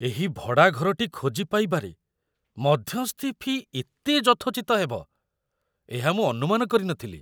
ଏହି ଭଡ଼ା ଘରଟି ଖୋଜିପାଇବାରେ ମଧ୍ୟସ୍ଥି ଫି ଏତେ ଯଥୋଚିତ ହେବ, ଏହା ମୁଁ ଅନୁମାନ କରି ନ ଥିଲି!